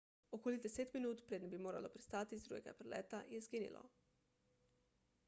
okoli deset minut preden bi moralo pristati iz drugega prileta je izginilo